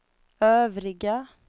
övriga